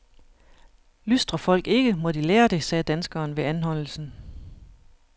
Lystrer folk ikke, må de lære det, sagde danskeren ved anholdelsen.